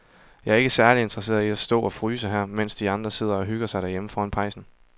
Jeg er ikke særlig interesseret i at stå og fryse her, mens de andre sidder og hygger sig derhjemme foran pejsen.